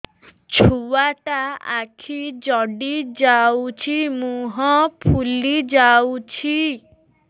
ଛୁଆଟା ଆଖି ଜଡ଼ି ଯାଉଛି ମୁହଁ ଫୁଲି ଯାଉଛି